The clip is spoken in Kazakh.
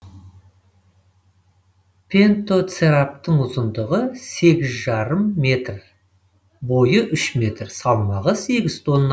пентоцераптың ұзындығы сегіз жарым метр бойы үш метр салмағы сегіз тонна